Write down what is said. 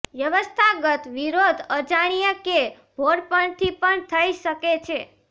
વ્યવસ્થાગત વિરોધ અજાણ્યે કે ભોળપણથી પણ થઈ શકે છે